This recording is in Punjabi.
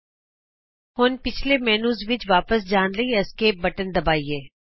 ਆਉ ਅਸੀਂ ਹੁਣ ਪਿਛੱਲੇ ਮੈਨਯੂ ਵਿਚ ਵਾਪਸ ਜਾਣ ਲਈ ਐਸਕੇਪ ਬਟਨ ਨੂੰ ਦਬਾਈਏ